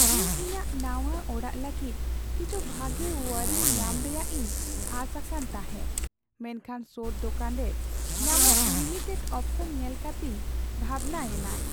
ᱤᱧ ᱤᱧᱟᱹᱜ ᱱᱟᱶᱟ ᱚᱲᱟᱜ ᱞᱟᱹᱜᱤᱫ ᱠᱤᱪᱷᱩ ᱵᱷᱟᱜᱮ ᱳᱭᱟᱨᱤᱝ ᱧᱟᱢ ᱨᱮᱭᱟᱜ ᱤᱧ ᱟᱸᱥ ᱟᱠᱟᱱ ᱛᱟᱦᱮᱸᱜ, ᱢᱮᱱᱠᱷᱟᱱ ᱥᱳᱨ ᱫᱳᱠᱟᱱ ᱨᱮ ᱧᱟᱢᱚᱜ ᱞᱤᱢᱤᱴᱮᱰ ᱚᱯᱥᱚᱱ ᱧᱮᱞ ᱠᱟᱛᱮᱧ ᱵᱷᱟᱵᱱᱟᱭᱮᱱᱟ ᱾